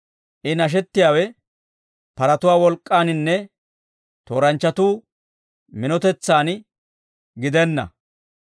I nashettiyaawe paratuwaa wolk'k'aaninne, tooranchchatu minotetsan gidenna.